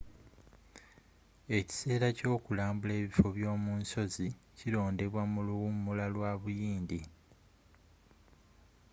ekiseera kyokulambula ebifo byomu nsozi kirondebwa mu luwumula lwa buyindi